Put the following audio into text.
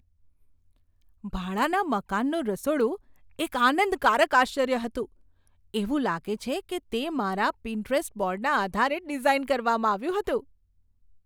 ભાડાના મકાનનું રસોડું એક આનંદકારક આશ્ચર્ય હતું એવું લાગે છે કે તે મારા પિન્ટરસ્ટ બોર્ડના આધારે ડિઝાઈન કરવામાં આવ્યું હતું!